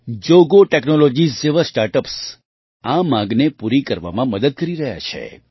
Jogo technologies જેવાં સ્ટાર્ટ અપ્સ આ માંગને પૂરી કરવામાં મદદ કરી રહ્યાં છે